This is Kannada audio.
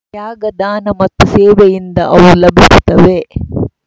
ತ್ಯಾಗ ದಾನ ಮತ್ತು ಸೇವೆಯಿಂದ ಅವು ಲಭಿಸುತ್ತವೆ